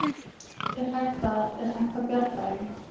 Er hægt að, er hægt að bjarga þeim?